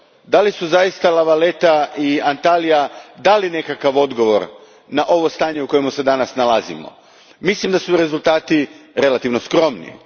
Da li su zaista La Valletta i Antalija dali nekakav odgovor na ovo stanje u kojem se danas nalazimo? Mislim da su rezultati relativno skromni.